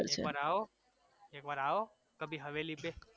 તમે એક વાર આવો એક વાર આવો કભી હવેલી પે